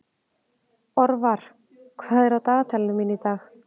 Orvar, hvað er á dagatalinu mínu í dag?